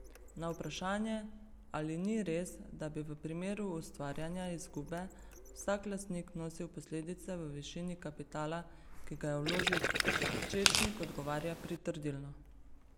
Na vprašanje, ali ni res, da bi v primeru ustvarjanja izgube vsak lastnik nosil posledice v višini kapitala, ki ga je vložil, Pečečnik odgovarja pritrdilno.